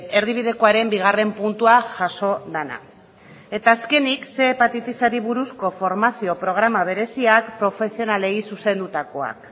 erdibidekoaren bigarren puntuan jaso dena eta azkenik ehun hepatitisari buruzko formazio programa bereziak profesionalei zuzendutakoak